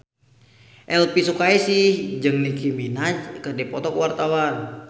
Elvi Sukaesih jeung Nicky Minaj keur dipoto ku wartawan